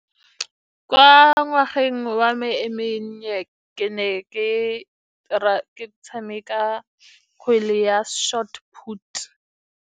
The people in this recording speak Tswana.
Kwa ngwageng wa me e mennye, ke ne ke tshameka kgwele ya short put.